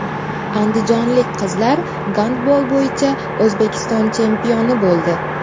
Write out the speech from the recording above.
Andijonlik qizlar gandbol bo‘yicha O‘zbekiston chempioni bo‘ldi.